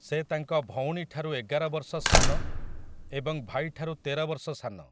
ସେ ତାଙ୍କ ଭଉଣୀଠାରୁ ଏଗାର ବର୍ଷ ସାନ ଏବଂ ଭାଇଠାରୁ ତେର ବର୍ଷ ସାନ ।